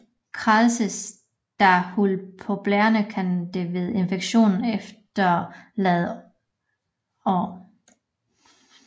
Kradses der hul på blærerne kan de ved infektion efterlade ar